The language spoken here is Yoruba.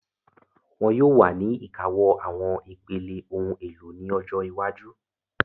Wọ́n yóò wà ní ìkáwọ́ àwọn ipele, ohun èlò ní ọjọ́ iwájú